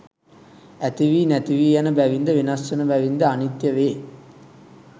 ඇතිවී නැතිවී යන බැවින්ද වෙනස් වන බැවින්ද අනිත්‍ය වේ.